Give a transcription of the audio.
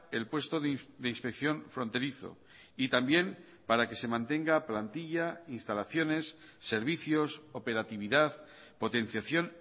el puesto de inspección fronterizo y también para que se mantenga plantilla instalaciones servicios operatividad potenciación